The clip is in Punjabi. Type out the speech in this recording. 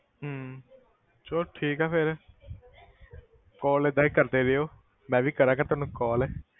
ਹਮ ਚਲੋ ਠੀਕ ਹੈ ਫਿਰ call ਏਦਾਂ ਹੀ ਕਰਦੇ ਰਹਿਓ ਮੈਂ ਵੀ ਕਰਾਂਗਾ ਤੈਨੂੰ call